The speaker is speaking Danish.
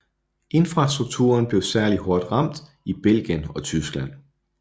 Infrastrukturen blev særligt hårdt ramt i Belgien og Tyskland